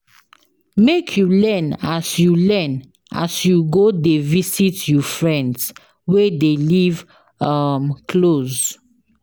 Make you learn as you learn as you go dey visit you friends wey dey live um close.